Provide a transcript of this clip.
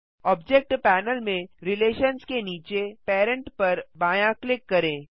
object panel में relations के नीचे पेरेंट पर बायाँ क्लिक करें